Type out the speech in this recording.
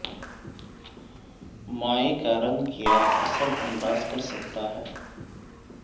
مائع کا رنگ کیا اثر انداز کر سکتا ہے